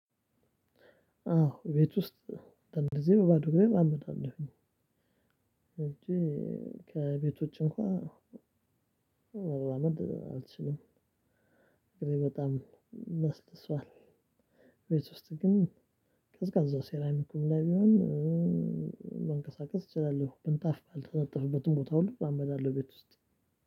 አዎ ቤት ውስጥ አንድአንድ ጊዜ በባዶ ግሬም አምጣለሁኝ። እንጂ ከቤት ውጪ እንኳን መራመድ አልችልም። እግሬ በጣም ለስልሷል። ቤት ውስጥ ግን ቀዝቃዛው ሴራሚኩም ላይ ቢሆን መንቀሳቀስ እችላለሁ ምንጣፍ ባልተነጠፍበትም ቦታ ሁሉ እራመዳለሁ። ቤት ውስጥ